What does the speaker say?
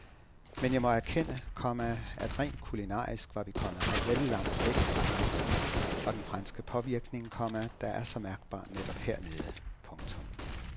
Men jeg må erkende, komma at rent kulinarisk var vi kommet vel langt væk fra grænsen og den franske påvirkning, komma der er så mærkbar netop hernede. punktum